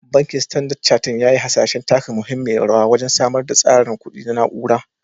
Bankin Standard Chartered ya yi hasashen taka muhimmiyar rawa wajen samar da tsarin kuɗi na na'ura.